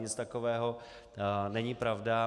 Nic takového není pravda.